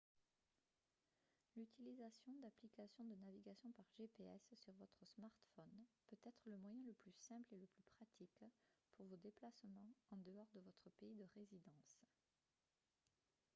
l'utilisation d'applications de navigation par gps sur votre smartphone peut être le moyen le plus simple et le plus pratique pour vos déplacements en dehors de votre pays de résidence